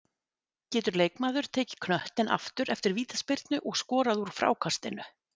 Getur leikmaður tekið knöttinn aftur eftir vítaspyrnu og skorað úr frákastinu?